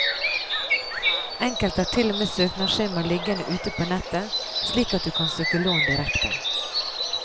Enkelte har til og med søknadsskjemaer liggende ute på nettet, slik at du kan søke lån direkte.